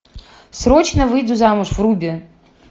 срочно выйду замуж вруби